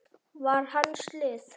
var hans lið.